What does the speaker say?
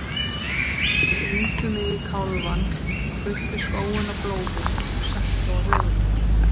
Stingdu mig í kálfann og fylltu skóinn af blóði og settu á höfuð mér.